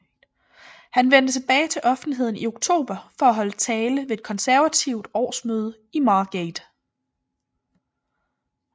Han vendte tilbage til offentligheden i oktober for at holde tale ved et konservativt årsmøde i Margate